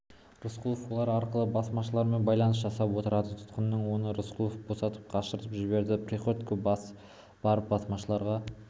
рысқұлов олар арқылы басмашылармен байланыс жасап отырады тұтқыннан оны рысқұлов босатып қашырып жібереді приходько барып басмашыларға